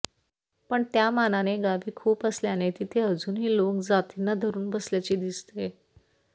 पण त्यामानाने गावे खूप असल्याने तिथे अजूनही लोक जातींना धरून बसल्याचे दिसते